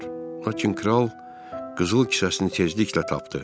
Lakin kral qızıl kisəsini tezliklə tapdı.